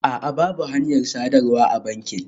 A'a, babu hanyar sadarwa a bankin